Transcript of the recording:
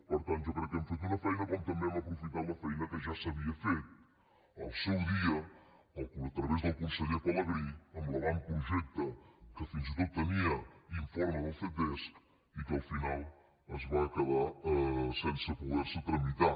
per tant jo crec que hem fet una bona feina com també hem aprofitat la feina que ja s’havia fet al seu dia a través del conseller pelegrí amb l’avantprojecte que fins i tot tenia informe del ctesc i que al final es va quedar sense poder se tramitar